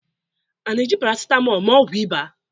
a na-eji paracetamol mee ọgwụ ịba?